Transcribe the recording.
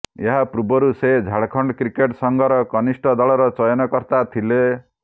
ଏହା ପୂର୍ବରୁ ସେ ଝାଡ଼ଖଣ୍ଡ କ୍ରିକେଟ୍ ସଂଘର କନିଷ୍ଠ ଦଳର ଚୟନକର୍ତା ଥିଲେ